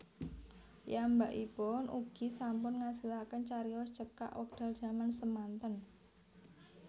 Piyambakipun ugi sampun ngasilaken carios cekak wekdal jaman semanten